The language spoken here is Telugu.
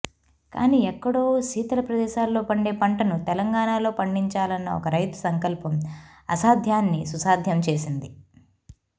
కానీ ఎక్కడో శీతల ప్రదేశాల్లో పండే పంటను తెలంగాణలో పండించాలన్న ఒక రైతు సంకల్పం అసాధ్యాన్ని సుసాధ్యం చేసింది